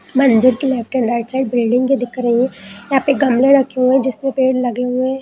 मंदिर के left and right side building दिख रही है यहां पर गमले रखे हुए हैं जिसमे पेड़ लगे हुए है।